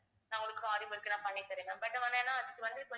நான் உங்களுக்கு aari work நான் பண்ணி தருவேன் but ஆனா அதுக்கு வந்து